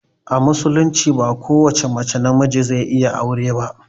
A musulunci ba ko wace mace na miji zai iya aure ba